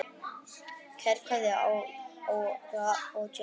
Kær kveðja, Áróra og Jenný.